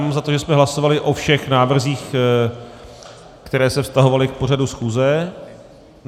Mám za to, že jsme hlasovali o všech návrzích, které se vztahovaly k pořadu schůze.